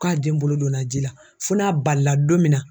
K'a den bolo donna ji la fo n'a balila don min na.